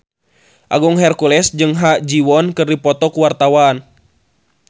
Agung Hercules jeung Ha Ji Won keur dipoto ku wartawan